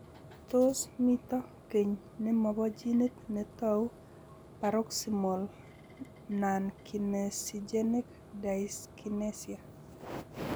Tos mito keny ne mo bo ginit ne tou paroxysmal nonkinesigenic dyskinesia?